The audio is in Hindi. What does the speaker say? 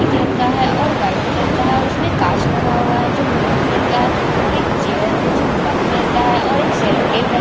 मिट्ठी कलर का है और व्हाईट कलर का है और उसमे काच लगा हुआ है जो ब्लैक कलर का है और एक चेयर है जो ब्लैक कलर का है और एक सेल्लो टेप रखा--